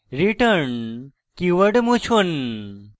return keyword মুছুন